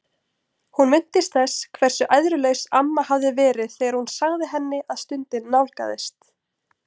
Hún minntist þess hversu æðrulaus amma hafði verið þegar hún sagði henni að stundin nálgaðist.